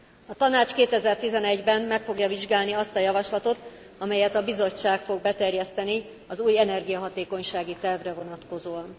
A Tanács 2011 ben meg fogja vizsgálni azt a javaslatot, amelyet a Bizottság fog beterjeszteni az új energiahatékonysági tervre vonatkozóan.